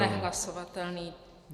Za nehlasovatelný.